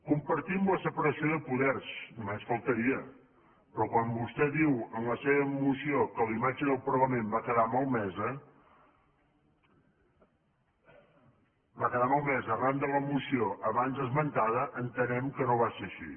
compartim la separació de poders només faltaria però quan vostè diu en la seva moció que la imatge del parlament va quedar malmesa arran de la moció abans esmentada entenem que no va ser així